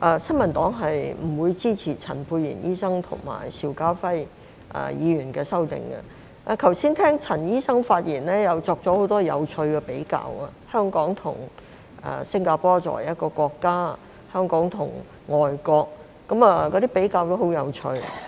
新民黨不支持陳沛然醫生及邵家輝議員的修正案，我剛才聆聽陳醫生的發言，他作出了很多有趣的比較，他說香港及新加坡作為一個國家，香港跟外國的比較也很有趣。